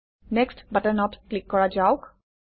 next বাটনত click কৰা যাওক